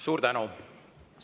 Suur tänu!